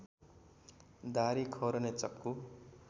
दाह्री खौरने चक्कु